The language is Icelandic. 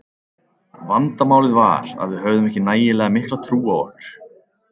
Vandamálið var að við höfðum ekki nægilega mikla trú á okkur.